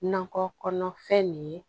Nakɔ kɔnɔfɛn nin ye